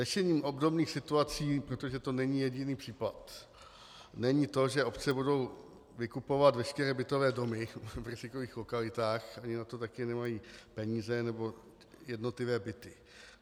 Řešením obdobných situací, protože to není jediný případ, není to, že obce budou vykupovat veškeré bytové domy v rizikových lokalitách, ony na to taky nemají peníze, nebo jednotlivé byty.